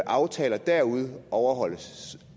aftaler derude overholdes